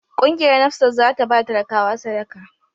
Kungiyar NAFSAT za ta ba talakawa sadaka.